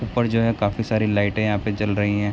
ऊपर जो है काफी सारी लाइटे यहाँ पे जल रही हैं।